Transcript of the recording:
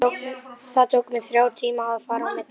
Það tók mig þrjá tíma að fara á milli.